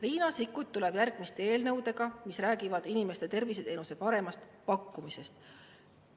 Riina Sikkut tuleb järgmiste eelnõudega, mis räägivad inimestele terviseteenuse paremast pakkumisest.